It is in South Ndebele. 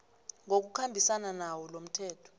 ngokukhambisana nawo lomthetho